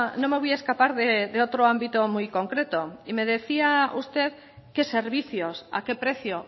no me voy a escapar de otro ámbito muy concreto y me decía usted qué servicios a qué precio